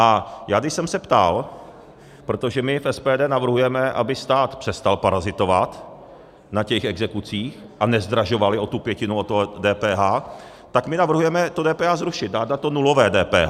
A já, když jsem se ptal - protože my v SPD navrhujeme, aby stát přestal parazitovat na těch exekucích a nezdražovali o tu pětinu, o to DPH, tak my navrhujeme to DPH zrušit, dát na to nulové DPH.